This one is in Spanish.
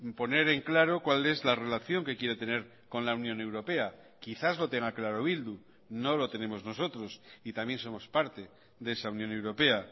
poner en claro cuál es la relación que quiere tener con la unión europea quizás lo tenga claro bildu no lo tenemos nosotros y también somos parte de esa unión europea